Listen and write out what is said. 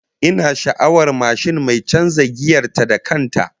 Ina sha'awar mashin mai canza giyar ta da kan ta